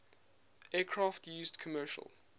aircraft used commercial